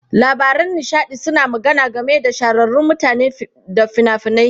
Labaran nishaɗi suna magana game da shahararrun mutane da fina-finai.